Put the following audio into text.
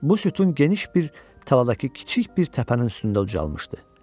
Bu sütun geniş bir tarladakı kiçik bir təpənin üstündə ucalmışdı.